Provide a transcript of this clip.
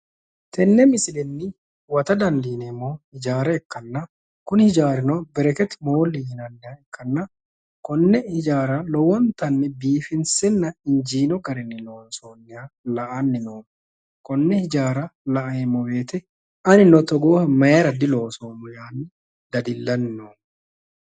Tenne misienni huwata dandiineemmohu ijaara ikkanna kuni hijaarino bereketi mooli yianniha ikkanna, konne hijaara lowontanni biifinsenna injiino garinni loonsoonni la'anni noommo, konne hijaara laeemmo woyte anino togooha mayra diloosoommo yaanni dadillanni noommo.